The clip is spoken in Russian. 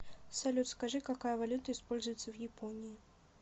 салют скажи какая валюта используется в японии